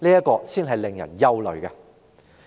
這才是令人感到憂慮的。